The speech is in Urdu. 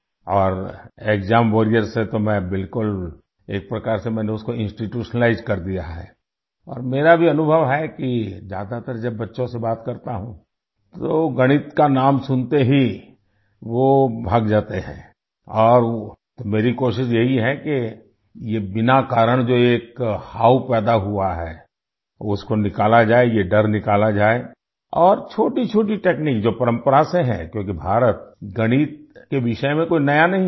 اور ایگزام واریر سے تو میں بالکل ایک طرح سے میں نے اس کو انسٹیٹیوشنلائزڈ کر دیا ہے اور میرا بھی تجربہ ہے کہ زیادہ تر جب بچوں سے بات کرتا ہوں، تو ریاضی کا نام سنتے ہی وہ بھاگ جاتے ہیں اور تو میری کوشش یہی ہے کہ یہ بلا وجہ جو ایک ڈر پیدا ہوا ہے اس کو نکالا جائے، یہ ڈر نکالا جائے اور چھوٹی چھوٹی ٹیکنیک جو روایت سے ہے، جو کہ بھارت، ریاضی کے بارے میں کوئی نئی نہیں ہے